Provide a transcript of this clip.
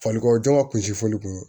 Falikɔ jɔn ka kunsi fɔli kun